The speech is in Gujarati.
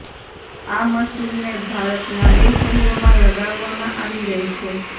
આ મશીનને ભારતના બે શહેરોમાં લગાવવામાં આવી રહી છે